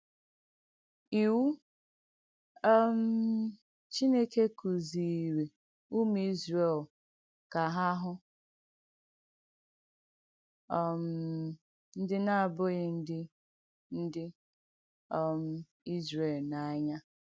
Iwù um Chìnèkè kụ̀zìirì ùmù Ìzrèl ka ha hụ̀ um ndí na-abughị ndí ndí um Ìzrèl n’ànyà.